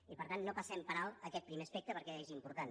i per tant no passem per alt aquest primer aspecte perquè és important